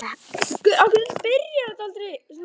Hann er með hendurnar fyrir aftan bak.